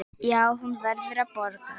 Já, hún verður að borga.